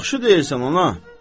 Yaxşı deyirsən, ana.